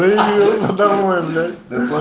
приедет домой блять